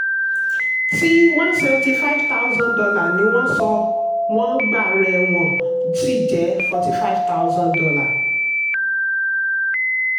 tí one seventy five thousand dollar ni wọ́n sọ wọ́n gba rẹ̀ wọ́n sì jẹ forty five thousand dollar.